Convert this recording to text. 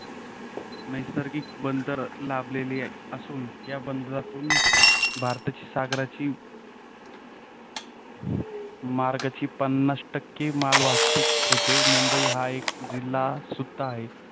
नैसर्गिक बंदर लाभलेले असून या बंदरातून भारताची सागराची मार्गाची पन्नास टक्के मालवाहतूक होते. मुंबई हा एक जिल्हा सुद्धा आहे.